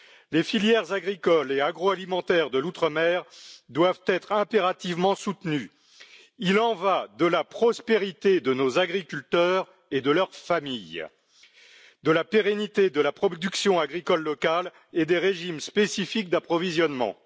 Les filières agricoles et agroalimentaires de l'outre mer doivent être impérativement soutenues. Il en va de la prospérité de nos agriculteurs et de leur famille, de la pérennité de la production agricole locale et des régimes spécifiques d'approvisionnement.